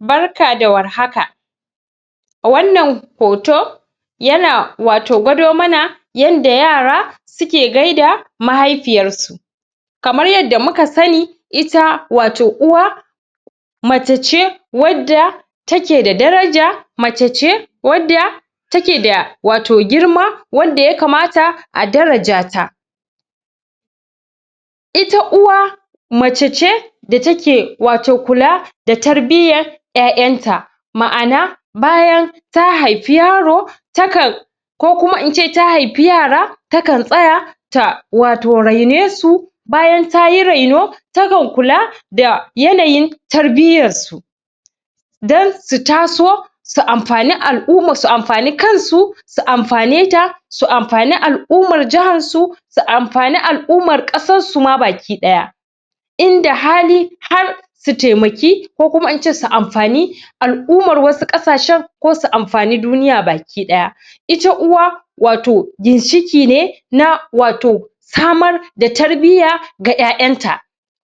Barka da warhaka. A wannan hoto, yana wato gwado mana yanda yara suke gaida mahaifiyar su. Kamar yadda muka sani, ita wato uwa mace ce wadda take da daraja, mace ce wadda take da wato girma, wadda ya kamata a daraja ta. ita uwa, mace ce da take wato kula da tarbiyyar ƴaƴan ta. Ma'ana; bayan ta haifi yaro, ta kan ko kuma in ce in ta haifi yara, ta kan tsaya ta wato raine su, bayan tayi raino, takan kula da yanayin tarbiyyar su, dan su taso su amfani al'uma, su amfani kan su, su amfane ta, su amfani al'ummar jahar su, su amfani al'ummar ƙasar su ma baki ɗaya. Inda hali har su taimaki, ko kuma in ce su amfani al'umar wasu ƙasashen, ko su amfani duniya baka ɗaya. Ita uwa wato ginshiki ne na wato samar da tarbiyya ga ƴaƴan ta.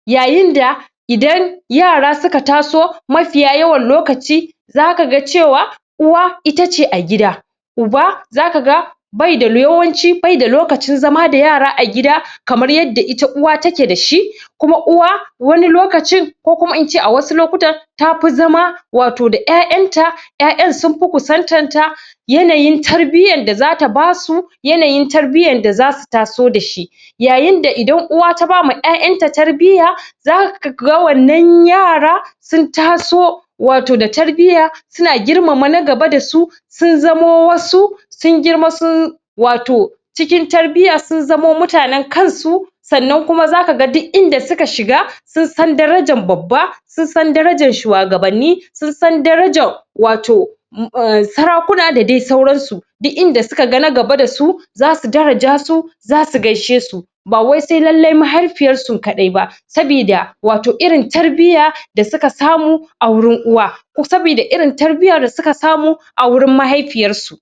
Yayin da idan yara suka taso, mafiya yawan lokaci, za kaga cewa uwa ita ce a gida, uba za kaga yawanci baida lokacin zama da yara a gida kamar yadda ita uwa take dashi, kuma uwa wani lokacin, ko kuma in ce a wasu lokutan ta fi zama wato da ƴaƴan ta, ƴaƴan sunfi kusantan ta. Yanayin tarbiyyan da zata basu, yanayin tarbiyyan da zasu taso da ita. Yayin da idan uwa ta bama ƴaƴan ta tarbiyya, za kaga wannan yara sun taso wato da tarbiyya, suna girmama na gaba da su, sun zamo wasu, sun girma sun wato cikin tarbiyya, sun zamo mutanen kan su, sannan kuma za gaka duk inda suka shiga, sun san darajan babba, sun san darajan shuwagabanni, sun san darajan wato um sarakuna, da dai sauran su. Duk inda suka ga na gaba dasu za su daraja su, za su gaishe su, ba wai sai lallai mahaifiyar su kaɗai ba, sabida wato irin tarbiyya da suka samu a wurin uwa, sabida irin tarbiyyar da suka samu a wurin mahaifiyar su.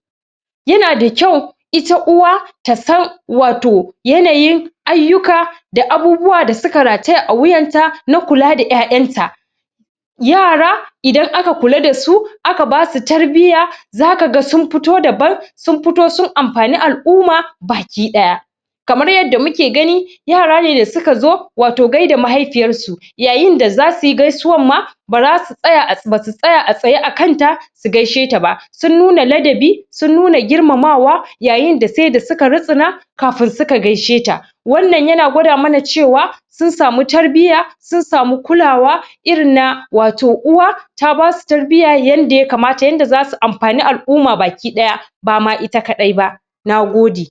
Yana da kyau ita uwa ta san wato yanayin ayyuka, da abubuwa da suka rataya a wuyanta na kula da ƴaƴan ta. Yara idan aka kula da su, a ka basu tarbiyya, za kaga sun futo daban, sun futo sun amfani al'umma baki ɗaya. Kamar yadda muke gani, yara ne da suka zo wato gaida mahaifiyar su, yayin da za suyi gaisuwan ma, basu tsaya a tsaye a kanta su gaishe ta ba, sun nuna ladabi, sun nuna girmamawa, yayin da se da suka rutsuna kafun suka gaishe ta. Wannan yana gwada mana cewa sun samu tarbiyya, sun samu kulawa irin na wato uwa, ta basu tarbiyya yanda ya kamata, yanda za su amfani al'umma baki ɗaya, ba ma ita kaɗai ba. Nagode.